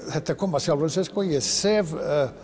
þetta kom af sjálfu sér ég sef